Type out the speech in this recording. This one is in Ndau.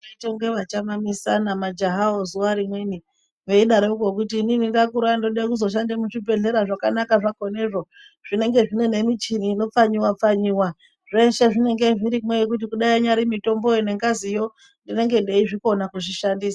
Vaiitange vachamamisana majaha wo zuwa rimweni veidarokwo kuti inini ndakura ndoda kuzoshanda muzvibhedhlera zvakanaka zvakhona zvo zvinenge zvine michini inopfanywa pfanywa. Zveshe zvinenge zviri mwo. Kudai inyari mitombo yo nengazi ndinenge ndeizvikona kuzvishandisa